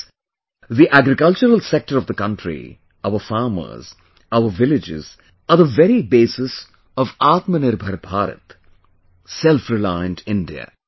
Friends, the agricultural sector of the country, our farmers, our villages are the very basis of Atmanirbhar Bharat, a self reliant India